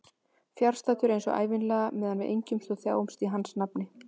Fjarstaddur eins og ævinlega meðan við engjumst og þjáumst í hans nafni.